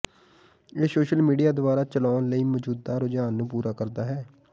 ਇਹ social media ਦੁਆਰਾ ਚਲਾਉਣ ਲਈ ਮੌਜੂਦਾ ਰੁਝਾਨ ਨੂੰ ਪੂਰਾ ਕਰਦਾ ਹੈ